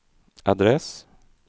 adress